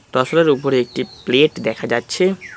তসরের উপরে একটি প্লেট দেখা যাচ্ছে।